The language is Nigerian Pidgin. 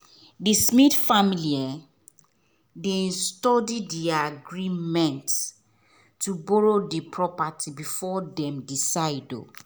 the smith family dey study the agreement to borrow the property before them decide